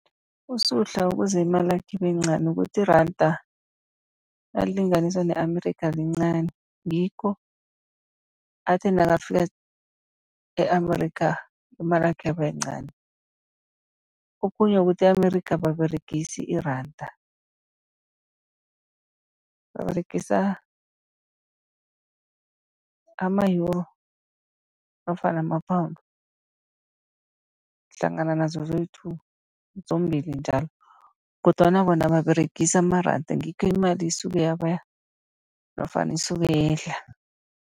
USuhla ukuze imalakhe ibe yincani ukuthi iranda nalilinganiswa ne-Amerikha lincani, ngikho athe nakafika e-Amerikha imalakhe yaba yincani. Okhunye kukuthi e-Amerikha ababeregisi iranda, baberegisa ama-Euro nofana ama-Pound hlangana nazo zoyi-two, zombili njalo. Kodwana bona ababeregisi amaranda, ngikho imali isuke yaba nofana isuke yehla.